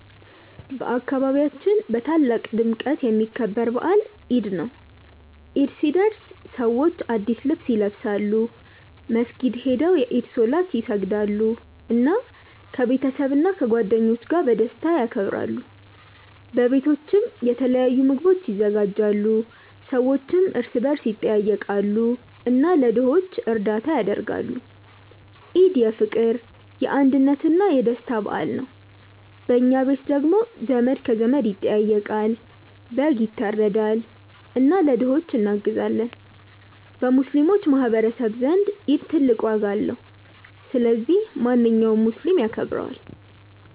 በአካባቢያችን በታላቅ ድምቀት የሚከበር በዓል ኢድ ነው። ኢድ ሲደርስ ሰዎች አዲስ ልብስ ይለብሳሉ፣ መስጊድ ሄደው የኢድ ሶላት ይሰግዳሉ፣ እና ከቤተሰብና ከጓደኞች ጋር በደስታ ያከብራሉ። በቤቶችም የተለያዩ ምግቦች ይዘጋጃሉ፣ ሰዎችም እርስ በርስ ይጠያየቃሉ እና ለድሆች እርዳታ ያደርጋሉ። ኢድ የፍቅር፣ የአንድነት እና የደስታ በዓል ነው። በኛ ቤት ደግሞ ዘመድ ከዘመድ ይጠያየቃል፣ በግ ይታረዳል እና ለድሆች እናግዛለን። በሙስሊሞች ማህቀረሰብ ዘንድ ኢድ ትልቅ ዋጋ አለው። ስለዚህ ማንኛውም ሙስሊም ያከብረዋል።